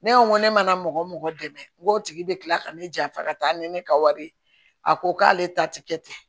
Ne ko ne mana mɔgɔ mɔgɔ dɛmɛ n ko tigi bɛ kila ka ne janfa ka taa ni ne ka wari ye a ko k'ale ta tɛ kɛ ten